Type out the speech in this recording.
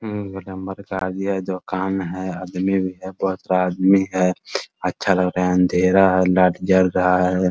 दुकान है आदमी भी है बहुत सारा आदमी है अच्छा लग रहा है अँधेरा है लाईट जल रहा है ।